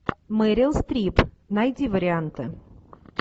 мерил стрип найди варианты